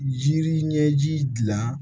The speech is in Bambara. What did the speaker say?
Jiri ɲɛji dilan